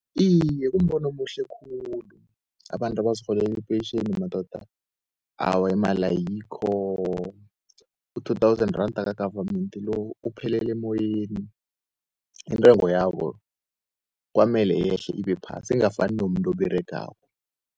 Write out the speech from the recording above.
Iye kumbono omuhle khulu abantu abazirholeli ipentjheni madoda awa imali ayikho. U-two thousand randa ka-government lo, uphelele emoyeni. Intengo yabo kwamele yehle ibephasi ingafani nomuntu oberegako.